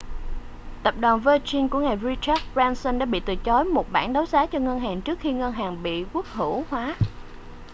tập đoàn virgin của ngài richard branson đã bị từ chối một bản đấu giá cho ngân hàng trước khi ngân hàng bị quốc hữu hóa